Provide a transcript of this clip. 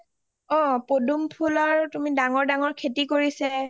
অ পদুম ফুলৰ ডাঙৰ ডাঙৰ খেতি কৰিছে